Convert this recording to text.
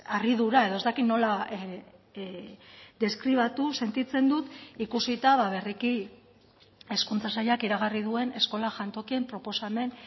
harridura edo ez dakit nola deskribatu sentitzen dut ikusita berriki hezkuntza sailak iragarri duen eskola jantokien proposamen